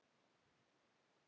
Það stæði.